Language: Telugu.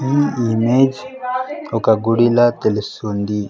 ఈ ఇమేజ్ ఒక గుడిలా తెలుస్తుంది.